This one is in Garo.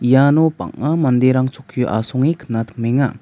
iano bang·a manderang chokkio asonge knatimenga.